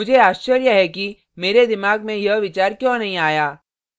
मुझे आश्चर्य है कि मेरे दिमाग में यह विचार क्यों नहीं आया